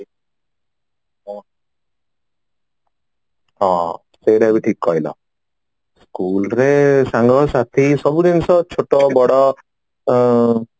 ହଁ ସେଇଟା ବି ଠିକ କହିଲ school ରେ ସାଙ୍ଗ ସାଥି ସବୁ ଜିନିଷ ଛୋଟ ବଡ ଅ